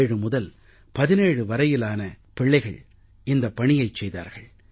ஏழு முதல் 17 வயது வரையிலான பிள்ளைகள் இந்தப் பணியைச் செய்தார்கள்